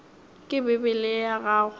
ke bibele ye ya gago